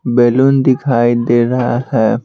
Balloon दिखाई दे रहा है।